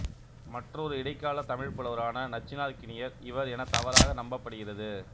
மற்றொரு இடைக்கால தமிழ்ப் புலவரான நச்சினார்க்கினியர் இவர் என தவறாக நம்பப்படுகிறது